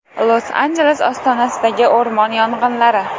Los-Anjeles ostonasidagi o‘rmon yong‘inlari.